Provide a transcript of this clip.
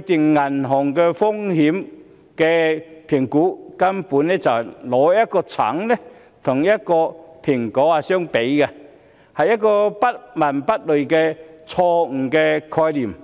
訂定銀行風險的高低，根本是拿橙跟蘋果相比，是不倫不類的錯誤概念。